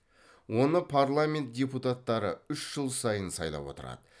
оны парламент депутаттары үш жыл сайын сайлап отырады